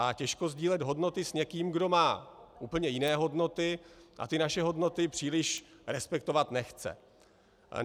A těžko sdílet hodnoty s někým, kdo má úplně jiné hodnoty a ty naše hodnoty příliš respektovat nechce.